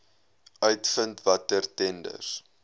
uitvind watter tenders